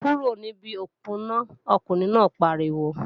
Kúrò níbi òponá, ọkùnrin náà pariwo!